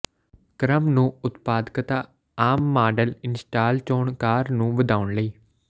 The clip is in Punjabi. ਕ੍ਰਮ ਨੂੰ ਉਤਪਾਦਕਤਾ ਆਮ ਮਾਡਲ ਇੰਸਟਾਲ ਚੋਣਕਾਰ ਨੂੰ ਵਧਾਉਣ ਲਈ